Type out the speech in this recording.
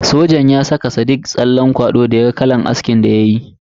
Sojan ya saka sadiq tsallen kwado da ya ga irin askin da ya yi.